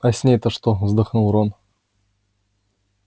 а с ней-то что вздохнул рон